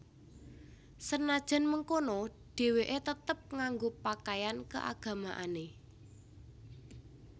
Senajan mengkono déwéké tetep nganggo pakaian keagamaané